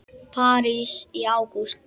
París í ágúst